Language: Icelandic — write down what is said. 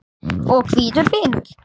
og hvítur vinnur.